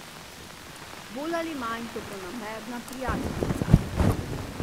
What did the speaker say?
Bolj ali manj dobronamerna prijateljica?